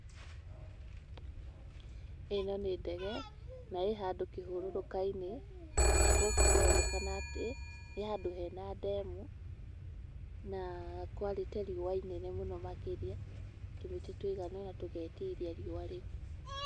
Ĩno nĩ ndege na ĩ handũ kĩhũrũrũka-inĩ na gũkũ kũronekana atĩ nĩ handũ hena ndemu, na kwarĩte riũa inene mũno makĩria, tũmĩtĩ tũigana ona tũgetiria riũa rĩu.